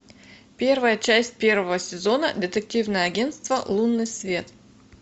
первая часть первого сезона детективное агентство лунный свет